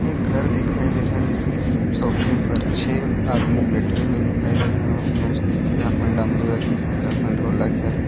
घर दिखाई दे रहा है जिसके स सोफे पर छः आदमी बैठे हुए दिखाई दे रहे हैं हाथ में उसके किसी के हाथ में डमरू है किसी के हाथ में ढोलक है।